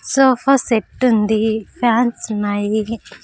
Sofa set ఉంది fans ఉన్నాయి.